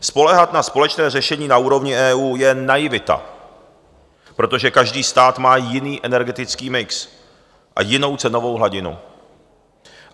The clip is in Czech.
Spoléhat na společné řešení na úrovni EU je naivita, protože každý stát má jiný energetický mix a jinou cenovou hladinu.